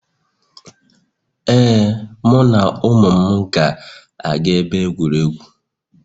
Ee, mụ na ụmụ m ga-aga ebe egwuregwu